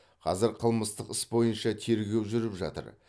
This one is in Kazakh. қазір қылмыстық іс бойынша тергеу жүріп жатыр